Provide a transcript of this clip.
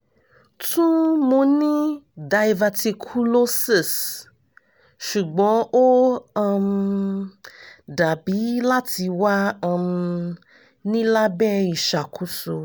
tun mo ni diverticulosis sugbon o um dabi lati wa um ni labẹ iṣakoso